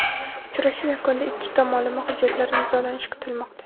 Uchrashuv yakunida ikki tomonlama hujjatlar imzolanishi kutilmoqda.